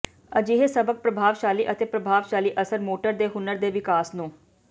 ਅਜਿਹੇ ਸਬਕ ਪ੍ਰਭਾਵਸ਼ਾਲੀ ਅਤੇ ਪ੍ਰਭਾਵਸ਼ਾਲੀ ਅਸਰ ਮੋਟਰ ਦੇ ਹੁਨਰ ਦੇ ਵਿਕਾਸ ਨੂੰ